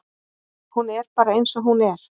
Hún er bara eins og hún er.